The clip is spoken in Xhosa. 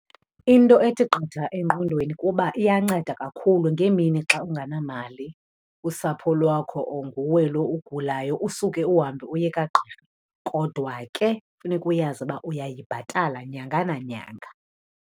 Into ethi qatha engqondweni kuba iyanceda kakhulu ngeemini xa ungenamali, usapho lwakho or nguwe lo ugulayo usuke uhambe uye kagqirha. Kodwa ke funeka uyazi uba uyayibhatala nyanga nanyanga.